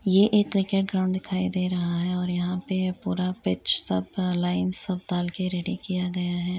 ये एक cricket ground दिखाई दे रहा है और यहाँ पे पूरा पिच सब लाइन सब डालके रेडी किया गया है।